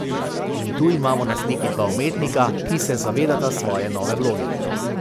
In tu imamo na sliki dva umetnika, ki se zavedata svoje nove vloge.